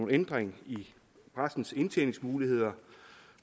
ændring i præstens indtjeningsmuligheder